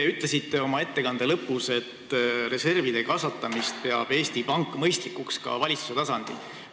Te ütlesite oma ettekande lõpus, et reservide kasvatamist peab Eesti Pank mõistlikuks ka valitsuse tasandil.